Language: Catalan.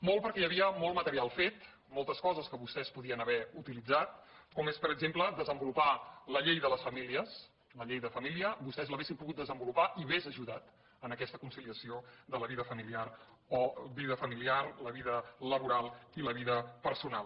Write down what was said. molt perquè hi havia molt material fet moltes coses que vostès podien haver utilitzat com és per exemple desenvolupar la llei de les famílies la llei de família vostès l’haurien pogut desenvolupar i hauria ajudat a aquesta conciliació de la vida familiar la vida laboral i la vida personal